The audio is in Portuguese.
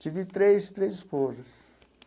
Tive três três esposas.